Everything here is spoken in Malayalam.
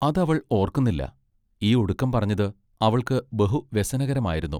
അത് അവൾ ഓർക്കുന്നില്ല ഈ ഒടുക്കം പറഞ്ഞത് അവൾക്ക് ബഹു വ്യസനകരമായിരുന്നു.